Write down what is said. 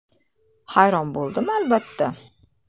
Hayron bo‘ldim, albatta.